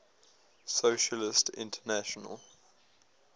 socialist international